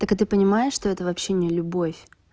ты понимаешь что это вообще не любовь